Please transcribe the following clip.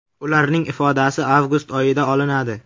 Ularning ifodasi avgust oyida olinadi.